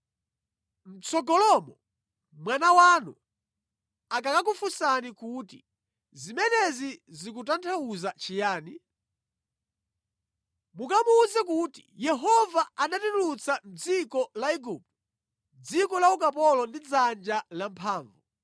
“Mʼtsogolomo mwana wanu akakafunsa kuti, ‘Zimenezi zikutanthauza chiyani?’ Mukamuwuze kuti, ‘Yehova anatitulutsa mʼdziko la Igupto, dziko la ukapolo ndi dzanja lamphamvu.